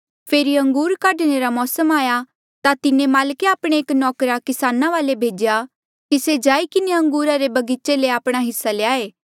फेरी अंगूर काढणे रा मौसम आया ता तिन्हें माल्के आपणा एक नौकर किसाना वाले भेज्या कि से जाई किन्हें अंगूरा रे बगीचे ले आपणा हिस्सा ल्याए